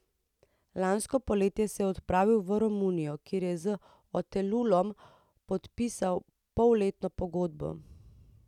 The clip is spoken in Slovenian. Lansko poletje se je odpravil v Romunijo, kjer je z Otelulom podpisal polletno pogodbo.